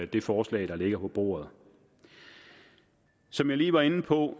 det forslag der ligger på bordet som jeg lige var inde på